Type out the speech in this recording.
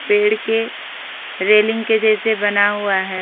पेड़ के रेलिंग के जैसे बना हुआ है।